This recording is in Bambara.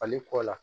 Fali kɔ la